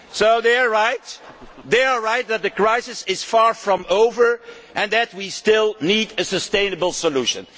So they are right that the crisis is far from over and that we still need a sustainable solution.